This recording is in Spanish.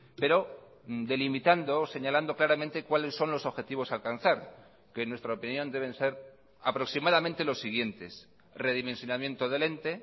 pero delimitando o señalando claramente cuáles son los objetivos a alcanzar que en nuestra opinión deben ser aproximadamente los siguientes redimensionamiento del ente